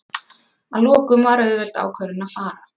Að lokum var auðveld ákvörðun að fara.